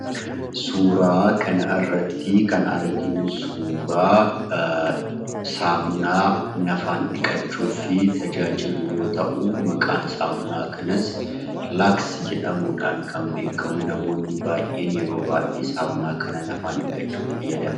Suuraa kana irratti kan, arginu suuraa saamuna, nafa dhiqachuf tajaajilu yoo ta'u, Maqaan saamunaa kanaas,"laaksi"jedhamuudhan kan beekamu, namoonni baay'een, yeroo baay'ee nafaan dhiqachuudhaf fayyadamu.